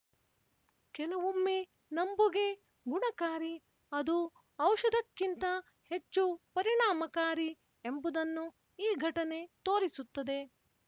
ಕೆಲವೊಮ್ಮೆ ನಂಬುಗೆ ಗುಣಕಾರಿ ಅದು ಔಷಧಕ್ಕಿಂತ ಹೆಚ್ಚು ಪರಿಣಾಮಕಾರಿ ಎಂಬುದನ್ನು ಈ ಘಟನೆ ತೋರಿಸುತ್ತದೆ